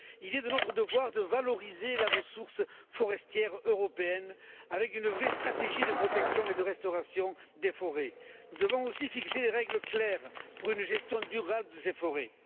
Il est de notre devoir de valoriser la ressource forestière européenne avec une vraie stratégie de protection et de restauration des forêts. Nous devons aussi fixer des règles claires pour une gestion durable de ces forêts.